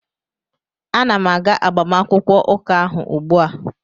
Ana m aga agbamakwụkwọ ụka ahụ ugbua